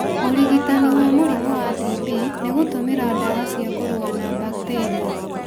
ũrigitani wa mũrimũ wa TB nĩ gũtũmĩra ndawa cia kũrũa na bakitĩria.